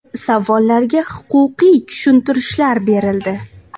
Savollarga huquqiy tushuntirishlar berildi.